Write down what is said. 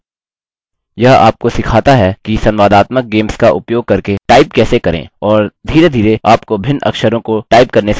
यह आपको सिखाता है कि संवादात्मक गेम्स का उपयोग करके टाइप कैसे करें और धीरेधीरे आपको भिन्न अक्षरों को टाइप करने से परिचित कराता है